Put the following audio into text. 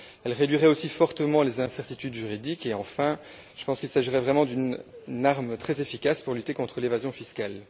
Elle réduirait aussi fortement les incertitudes juridiques et, enfin, je pense qu'il s'agirait vraiment d'une arme très efficace pour lutter contre l'évasion fiscale.